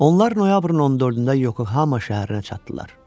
Onlar noyabrın 14-də Yokohamaya şəhərinə çatdılar.